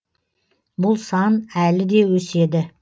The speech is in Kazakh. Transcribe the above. бұл сан әлі де өседі